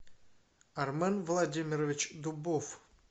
армен владимирович дубов